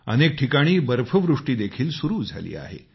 अनेक ठिकाणी बर्फवृष्टी देखील सुरु झाली आहे